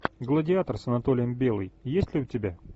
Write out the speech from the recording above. гладиатор с анатолием белый есть ли у тебя